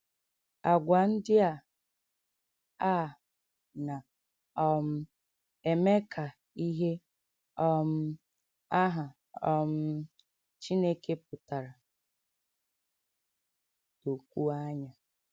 Àgwà ndị a a na um - eme ka ihe um aha um Chineke pụtara dokwuo anya.